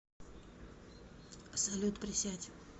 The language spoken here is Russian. салют присядь